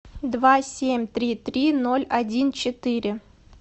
два семь три три ноль один четыре